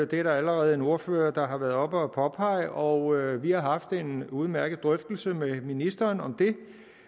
det er der allerede en ordfører der har været oppe at påpege og vi har haft en udmærket drøftelse med ministeren om det